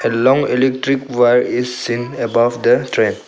A long electric wire is seen above the train.